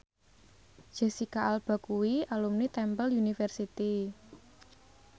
Jesicca Alba kuwi alumni Temple University